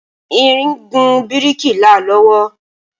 ìrìn gùn biriki là lowo